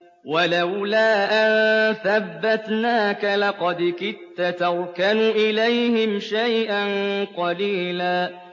وَلَوْلَا أَن ثَبَّتْنَاكَ لَقَدْ كِدتَّ تَرْكَنُ إِلَيْهِمْ شَيْئًا قَلِيلًا